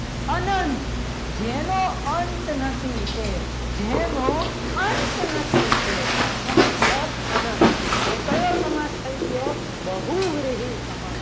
આનંદ જેનો અંત નથી તે જેનો અંત નથી તે એનો મતલબ અનંત તો એ કયો સમાસ થઈ ગયો બહુવિહીન સમાસ